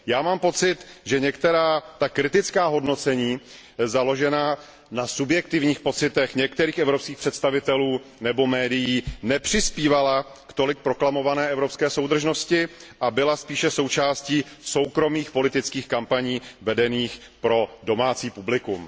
Já mám pocit, že některá ta kritická hodnocení založená na subjektivních pocitech některých evropských představitelů nebo médií nepřispívala k tolik proklamované evropské soudržnosti a byla spíše součástí soukromých politických kampaní vedených pro domácí publikum.